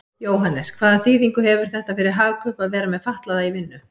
Jóhannes: Hvaða þýðingu hefur þetta fyrir Hagkaup að vera með fatlaða í vinnu?